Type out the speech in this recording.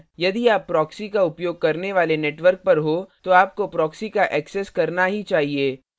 यदि आप proxy का उपयोग करने वाले network पर हो तो आपको proxy का access करना ही चाहिए